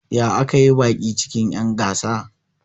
Ya aka yi baki cikin'yan gasa?